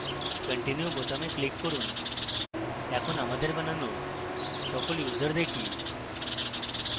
continue বোতামে click করুন এখন আমাদের বানানো সকল users দেখি